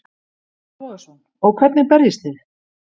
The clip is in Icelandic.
Breki Logason: Og hvernig berjist þið?